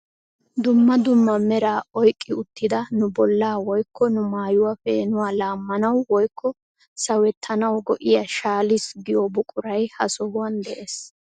Dumma dumma meraa oyiqqi uttida nu bollaa woyikko nu maayuwa peenuwa laammanawu woyikko sawettanawu go'iya shaalis giyo buquray ha sohuwan des.